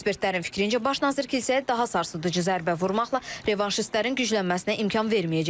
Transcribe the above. Ekspertlərin fikrincə, baş nazir kilsəyə daha sarsıdıcı zərbə vurmaqla revanşistlərin güclənməsinə imkan verməyəcək.